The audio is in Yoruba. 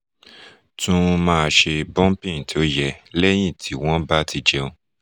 tún máa ṣe burping tó yẹ lẹ́yìn tí wọ́n bá ti jẹun